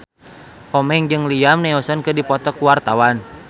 Komeng jeung Liam Neeson keur dipoto ku wartawan